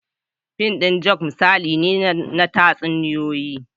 Fim ɗin joker misali ne na tatsuniyoyi